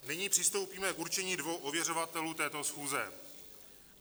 Nyní přistoupíme k určení dvou ověřovatelů této schůze.